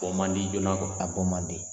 man di joona a bɔ man di.